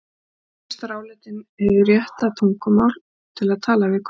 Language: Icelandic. Tónlist var álitin hið rétta tungumál til að tala við Guð.